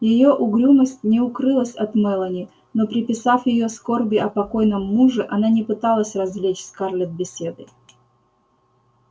её угрюмость не укрылась от мэлани но приписав её скорби о покойном муже она не пыталась развлечь скарлетт беседой